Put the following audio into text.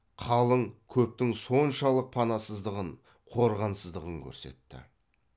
қалың көптің соншалық панасыздығын қорғансыздығын көрсетті